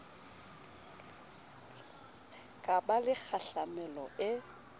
ka ba le kgahlamelo e